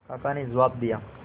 काका ने जवाब दिया